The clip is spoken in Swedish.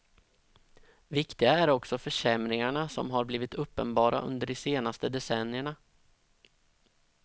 Viktiga är också försämringarna som har blivit uppenbara under de senaste decennierna.